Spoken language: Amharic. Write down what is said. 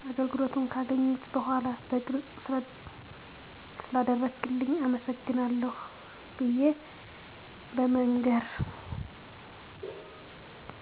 አገልግሎቱን ገካገኘሁ በዃላ በግልጽ ስለአደረክልኝ አመሰግናለሁ ብየ በመንገር